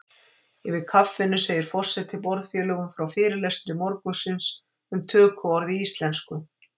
Yfir kaffinu segir forseti borðfélögum frá fyrirlestri morgunsins um tökuorð í íslensku.